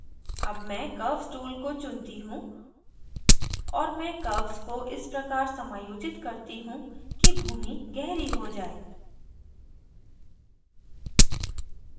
अब मैं curves tool को चुनती हूँ और मैं curves को इस प्रकार समायोजित करती हूँ कि भूमि गहरी हो जाये